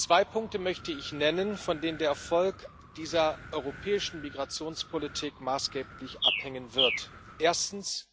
Zwei Punkte möchte ich nennen, von denen der Erfolg dieser europäischen Migrationspolitik maßgeblich abhängen wird Erstens